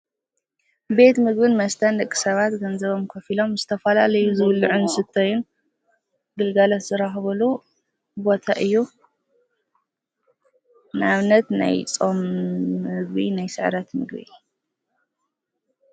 ቤት ምግብን መስተን ደቂ ሰባት ገንዘቦም ከፊሎም ዝተፈላለዩ ዝብልዑን ዝስተዩን ግልጋሎት ዝረኽብሉ ቦታ እዩ። ንኣብነት፦ ናይ ፆም ምግቢ፣ ናይ ስዕረት ምግቢ።